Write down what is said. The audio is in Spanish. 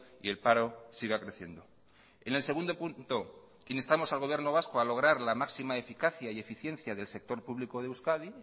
y el paro siga creciendo en el segundo punto instamos al gobierno vasco a lograr la máxima eficacia y eficiencia del sector público de euskadi